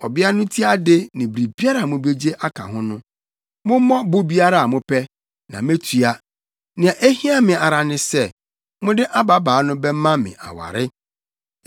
Ɔbea no ti ade ne biribiara a mubegye aka ho no, mommɔ bo biara a mopɛ, na metua. Nea ehia me ara ne sɛ, mode ababaa no bɛma me aware.”